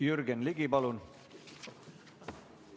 Jürgen Ligi, palun!